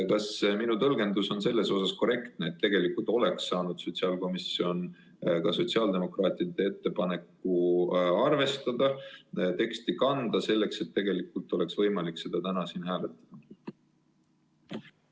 Kas minu tõlgendus on korrektne, et tegelikult oleks saanud sotsiaalkomisjon ka sotsiaaldemokraatide ettepanekut arvestada ja selle teksti sisse kanda, nii et täna oleks olnud võimalik ka seda siin hääletada?